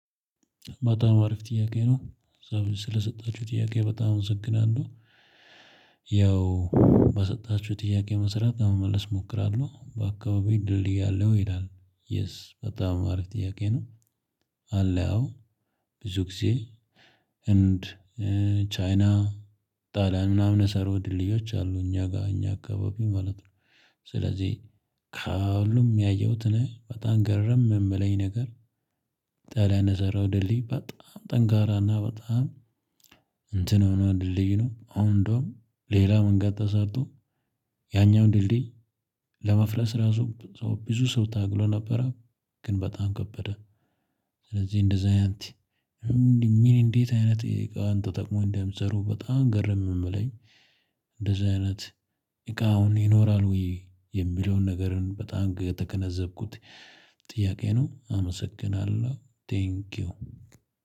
በጣም አሪፍ ጥያቄ ነው። ስለሰጣችሁ ጥያቄ በጣም አመሰግናለሁ። ያው ባሰጣችሁት ጥያቄ መስራት ለመመለስ እሞክራለሁ በአካባቢው ድልድይ አለው። ይላል የስ በጣም አሪፍ ጥያቄ ነው። አለው ብዙ ጊዜ ህንድ ቻይና ጣልያን ምናምን የተሰሩ ድልድዮች አሉ። እኛ ጋር እኛ አካባቢ ማለት ነው። ስለዚህ ከሁሉም ያየሁትን በጣም ግረም የምለኝ ነገር ጣሊያን የሰራው ድሌ በጣም ጠንካራ እና በጣም እንትን ሆኖ ድልድይ ነው። አሁን እንዴውም ሌላ መንገድ ተሰርቶ ያኛውን ድልድይ ለማፍረስ ራሱ ብዙ ሰው ታግሎ ነበረ ግን በጣም ከበደ። ስለዚህ እንደዛ አይነት። ምን ምን እንዴት አይነት እቃ ተጠቅመው እንደሚሰሩ በጣም ግርም የሚለኝ እንደዚህ አይነት እቃ አሁን ይኖራል ወይ? የሚለውን ነገርን በጣም ከተገነዘብኩት። ጥያቄ ነው። አመሰግናለሁ ቴንኪው።